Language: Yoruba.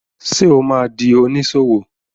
Ṣé o ma di oníṣòwò?